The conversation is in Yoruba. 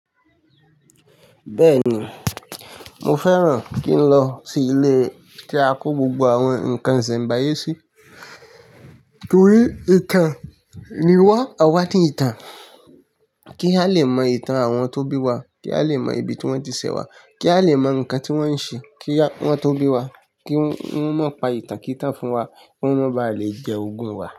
Bẹ́ẹ̀ni, mo fẹ́ràn kí n lọ sí ilé tí a kó gbogbo àwọn nǹkan ìsẹ̀mbáyé sí torí ìtàn ni wá, àwa tí ìtàn. Kí a lè mọ ìtàn àwọn tó bí wa, kí a lè mọ ibi tí wọ́n ti ṣẹ̀ wá, kí a lè mọ nǹkan tí wọ́n ń ṣe, kí à wọn tó bí wá, kí wọ́n má pa ìtàn kí ìtàn fún wa, kí wọ́n má ba à lè jẹ ogún wa.